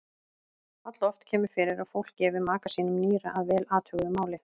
Alloft kemur fyrir að fólk gefi maka sínum nýra að vel athuguðu máli.